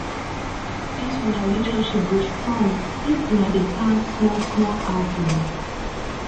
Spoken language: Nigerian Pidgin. dis una relationship go strong if una dey plan smallsmall outings